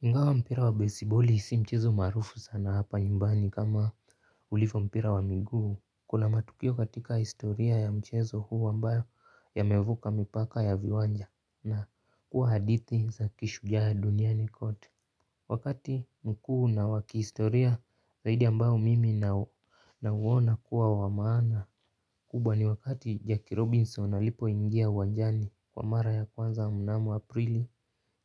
Ingawa mpira wa besiboli si mchezo maarufu sana hapa nyumbani kama ulivo mpira wa miguu kuna matukio katika historia ya mchezo huu ambayo yamevuka mipaka ya viwanja na kuwa hadithi za kishujaa duniani kote. Wakati mkuu na wa kihistoria zaidi ambayo mimi nau nauona kuwa wa maana. Kubwa ni wakati Jackie Robinson alipoingia uwanjani kwa mara ya kwanza mnamo Aprili